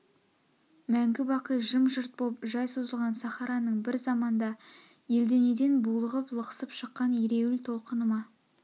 мәңгі-бақи жым-жырт боп жай созылған сахараның бір заманда әлденеден булығып лықсып шыққан ереул толқыны ма